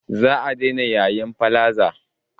Za a daina yayin palaza